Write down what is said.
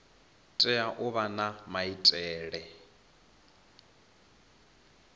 tea u vha na maitele